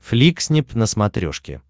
фликснип на смотрешке